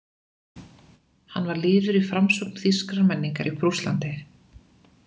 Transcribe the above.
Hann var liður í framsókn þýskrar menningar í Prússlandi.